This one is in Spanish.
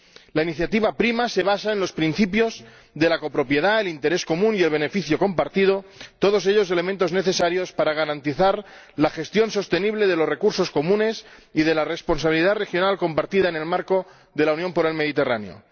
La iniciativa PRIMA se basa en los principios de la copropiedad, el interés común y el beneficio compartido, todos ellos elementos necesarios para garantizar la gestión sostenible de los recursos comunes y de la responsabilidad regional compartida en el marco de la Unión por el Mediterráneo.